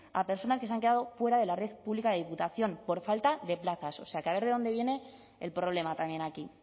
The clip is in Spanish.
a personas que se han quedado fuera de la red pública de diputación por falta de plazas o sea que a ver de dónde viene el problema también aquí y